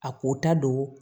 A ko ta don